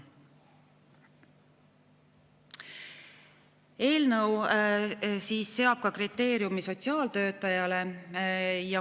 Eelnõu seab kriteeriumi ka sotsiaaltöötajate puhul.